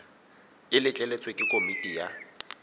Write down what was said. e letleletswe ke komiti ya